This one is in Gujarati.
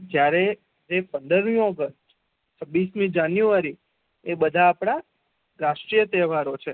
જયારે પન્દરમી ઓગ્સટ છવિસમી જાન્યુવારી એ બેધા અપણા રાષ્ટ્રીય તહેવાર છે